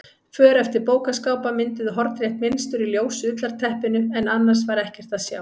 För eftir bókaskápa mynduðu hornrétt mynstur í ljósu ullarteppinu en annars var ekkert að sjá.